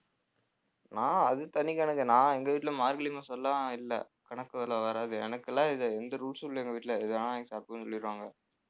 நான் அது தனிக்கணக்கு நான் எங்க வீட்டுல மார்கழி மாசம்லாம் இல்லை கணக்குல வராது எனக்கெல்லாம் இது எந்த rules உம் இல்லை எங்க வீட்டுல எது வேணாலும் வாங்கி சாப்பிடுன்னு சொல்லிருவாங்க.